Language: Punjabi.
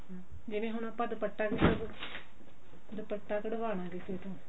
ਜਿਵੇਂ ਹੁਣ ਆਪਾਂ ਦੁਪੱਟਾ ਕਢਵਾਉਣਾ ਦੁਪੱਟਾ ਕਢਵਾਉਣਾ ਕਿਸੇ ਤੋਂ